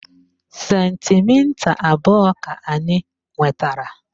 Sentimita abụọ ka anyị nwetara